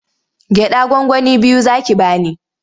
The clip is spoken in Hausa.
Gyaɗa gwangwani biyu za ki ba ni.